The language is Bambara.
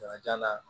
Jagaja